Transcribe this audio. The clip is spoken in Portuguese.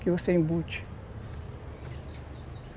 que você embute.